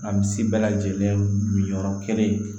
An bi si bɛɛ lajɛlen min yɔrɔ kelen